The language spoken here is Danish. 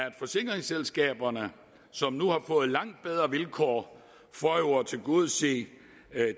at forsikringsselskaberne som nu har fået langt bedre vilkår for at tilgodese